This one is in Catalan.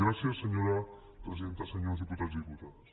gràcies senyora presidenta senyors diputats i diputades